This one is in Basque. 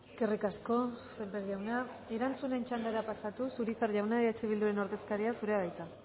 eskerrik asko sémper jauna erantzunen txandara pasatuz urizar jauna eh bilduren ordezkaria zurea da hitza